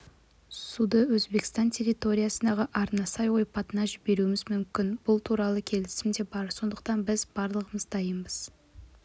суды өзбекстан территориясындағы арнасай ойпатына жіберуіміз мүмкін бұл туарлы келісім де бар сондықтан біз барлығына дайынбыз